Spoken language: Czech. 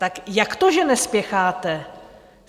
Tak jak to, že nespěcháte?